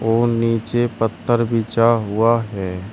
और नीचे पत्थर बिछा हुआ है।